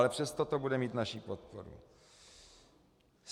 Ale přesto to bude mít naši podporu.